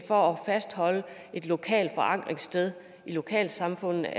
for at fastholde et lokalt forankringssted i lokalsamfundene